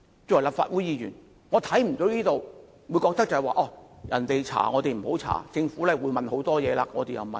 作為立法會議員，我不認同我們不應該調查政府將會調查的事情。